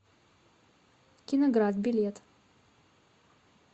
киноград билет